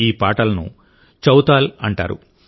ఈ పాటలను చౌతాల్ అంటారు